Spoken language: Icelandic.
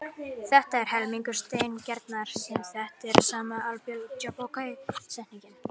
Þetta er annar helmingur setningarinnar sem þekkt er sem Abel-Jacobi setningin.